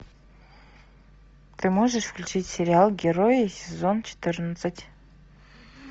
ты можешь включить сериал герои сезон четырнадцать